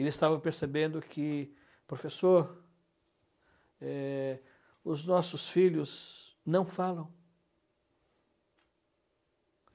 Eles estavam percebendo que, professor, é, os nossos filhos não falam.